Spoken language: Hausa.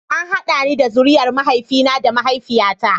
An haɗa ni da zuriyar mahaifina da mahaifiyata.